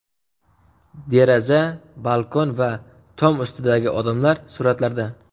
Deraza, balkon va tom ustidagi odamlar suratlarda.